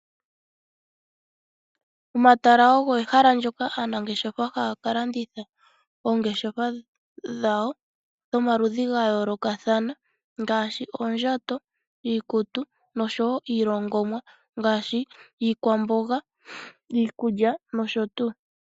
Omatala ogo ehala ndyoka aanangeshefa haya ka landitha oongeshefa dhawo dhomaludhi ga yoolokathana ngaashi oondjato, iikutu nosho wo iilongomwa ngashi iikwamboga, iikulya nosho tuu.